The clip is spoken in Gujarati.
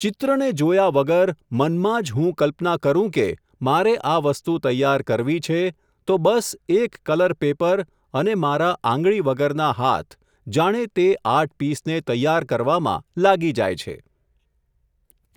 ચિત્રને જોયા વગર, મનમાં જ હું કલ્પના કરું કે, મારે આ વસ્તુ તૈયાર કરવી છે, તો બસ એક કલર પેપર, અને મારા આંગળી વગરના હાથ, જાણે તે આર્ટ પિસને તૈયાર કરવામાં, લાગી જાય છે.